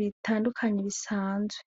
bitandukanye bisanzwe.